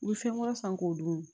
U bɛ fɛn wɛrɛ san k'o dun